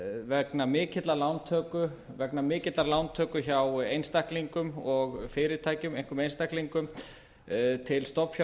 vegna mikillar lántöku vegna mikillar lántöku hjá einstaklingum og fyrirtækjum einkum einstaklingum til